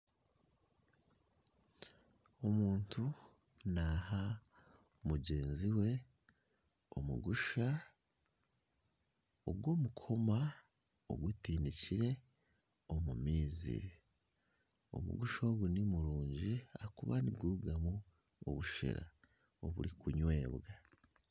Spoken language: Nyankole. Omuntu naaha mugyenzi we omugusha ogw'omukoma ogutiinikire omu maizi, omugusha ogu ni murungi ahakuba nigurugamu obushera oburikunywibwa.